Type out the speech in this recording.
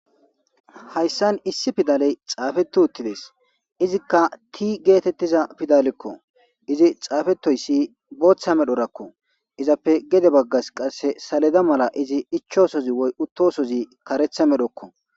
hayssan issi pidaley xaafeti uttidees izikka ti geetettiza pidalekko izi xaafetoyssi booththa medhorakko izappe gede baggas qasse saleda mala izi ichoosozi woy uttosozi karetha medhokko